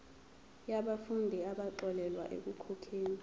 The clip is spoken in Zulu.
yabafundi abaxolelwa ekukhokheni